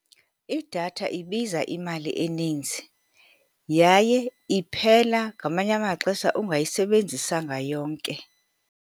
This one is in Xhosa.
Idatha ibiza imali eninzi yaye iphela ngamanye amaxesha ungayisebenzisanga yonke.